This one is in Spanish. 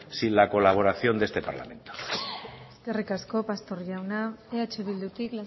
sin la colaboración de este parlamento eskerrik asko pastor jauna eh bildutik